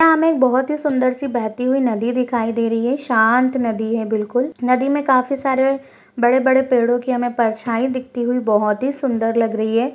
या हमे एक बहोत ही सुन्दर सी बहती हुई नदी दिखाई दे रही है शांत नदी है बिल्कुल नदी में काफी सारे बड़े-बड़े पेड़ो कि हमें परछाई दिखती हुई बहोत ही सुन्दर लग रही है।